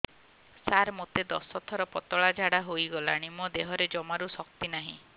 ସାର ମୋତେ ଦଶ ଥର ପତଳା ଝାଡା ହେଇଗଲାଣି ମୋ ଦେହରେ ଜମାରୁ ଶକ୍ତି ନାହିଁ